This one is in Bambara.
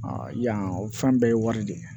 yan o fɛn bɛɛ ye wari de ye